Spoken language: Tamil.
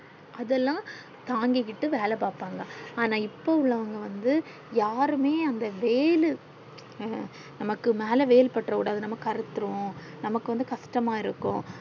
அதால தாங்கிக்கிட்டு வேலை பாப்பாங்க அனா இப்போ உள்ளவங்க வந்து யாருமே அந்த வெயில் அ நமக்கு மேல வெயில் பற்றகூடாது நம்ம கருத்துறுவோம் நமக்கு கஷ்டம்மா இருக்கும்